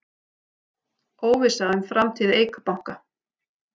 Óvissa um framtíð Eik Banka